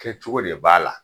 Kɛcogo de b'a la